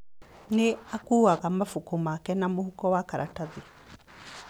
Nĩ aakuuaga mabuku make na mũhuko wa karatathi.